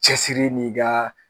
Cɛsiri n'i ka